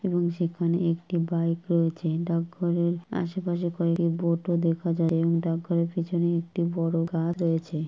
এবং সেখানে একটি বাইক রয়েছে ডাকঘরের আশেপাশে কয়েকটি বোর্ডও দেখা যায় ডাকঘরের পেছনে একটি বড় গা রয়েছে।